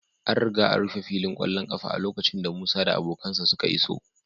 An riga an rufe filin ƙwallon ƙafa a lokacin da Musa da abokansa suka iso